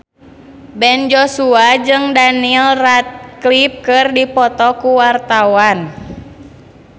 Ben Joshua jeung Daniel Radcliffe keur dipoto ku wartawan